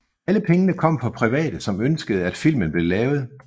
Alle pengene kom fra private som ønskede at filmen blev lavet